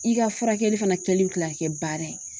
I ka furakɛli fana kɛli bɛ tila ka kɛ baara ye